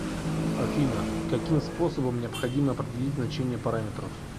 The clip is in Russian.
афина каким способом необходимо определить значение параметров